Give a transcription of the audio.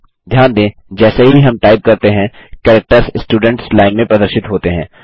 ध्यान दें जैसे ही हम टाइप करते हैं कैरेक्टर्स स्टुडेंट्स लाइन में प्रदर्शित होते हैं